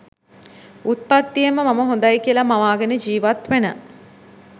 උප්පත්තියෙන්ම මම හොඳයි කියලා මවාගෙන ජීවත්වෙන